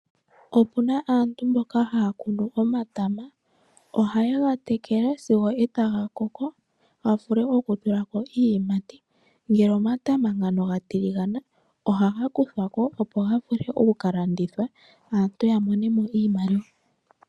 Opuna aantu mboka haya kunu omatama. Ohaye ga tekele sigo etaga koko. Ga vule oku tulako iiyimati. Ngele omatama ngano ga tiligana ohaga kuthwa ko ga vule okuka landithwa aantu ya monemo iimaliwa.